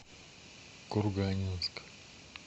курганинск